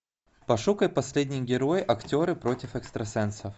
пошукай последний герой актеры против экстрасенсов